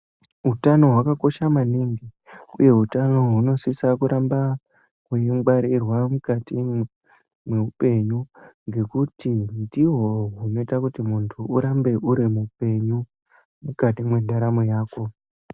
Utano hwakakosha maningi, uye utano hunosise kurambe hweingwarirwa mukati mweupenyu, ngekuti ndihwo hunoita kuti munthu urambe uri mupenyu mukati mwendaramo yako